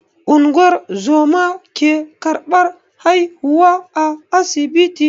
Ungozoma ke ƙarbar haihuwa a asibiti.